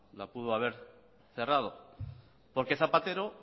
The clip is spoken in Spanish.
la pudo haber cerrado porque zapatero